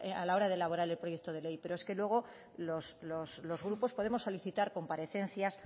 a la hora de valorar el proyecto de ley pero es que luego los grupos podemos solicitar comparecencias